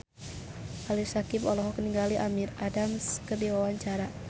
Ali Syakieb olohok ningali Amy Adams keur diwawancara